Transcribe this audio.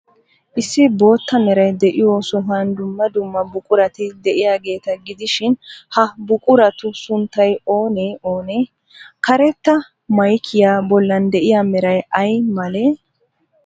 Issi bootta meray de'iyoo sohuwan dumma dumma buqurati de'iyaageeta gidishin, ha buquratu sunttay oonee oonee? Karetta maykiyaa bollan de'iyaa meray ay malee?